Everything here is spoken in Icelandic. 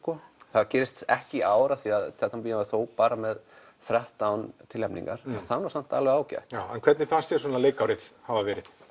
það gerist ekki í ár af því Tjarnarbíó er þó bara með þrettán tilnefningar það er samt alveg ágætt hvernig fannst þér leikárið hafa verið